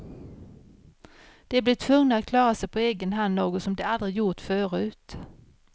De blir tvungna att klara sig på egen hand, något som de aldrig gjort förut.